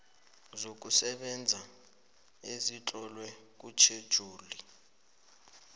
zokusebenza ezitlolwe kutjhejuli